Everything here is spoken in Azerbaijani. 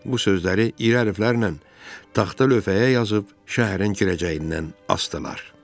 Bu sözləri iri hərflərlə taxta lövhələrə yazıb şəhərin girəcəyindən asdılar.